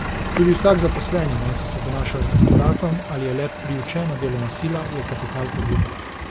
Tudi vsak zaposleni, najsi se ponaša z doktoratom ali je le priučena delovna sila, je kapital podjetja.